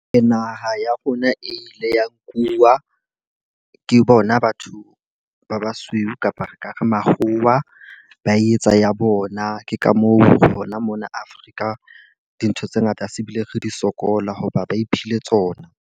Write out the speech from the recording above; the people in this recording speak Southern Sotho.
Naha ya rona e ile ya nkuwa ke bona batho ba basweu kapa re ka re makgowa. Ba etsa ya bona. Ke ka moo hona mona Afrika dintho tse ngata se bile re di sokola hoba ba iphile tsona.